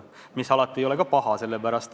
Ega see alati ei ole paha.